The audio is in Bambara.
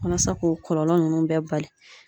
Walasa k'o kɔlɔlɔ ninnu bɛɛ bali.